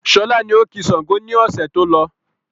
Sọlá ni ó ki Sángo ni ọ̀sẹ̀ tó lọ.